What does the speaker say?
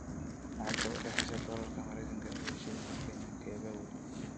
Lacagta u dhaxaysa dollarka Maraykanka iyo shilinka Kenya kee baa weyn?